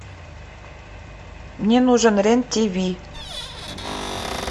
мне нужен рен тв